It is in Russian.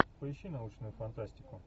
поищи научную фантастику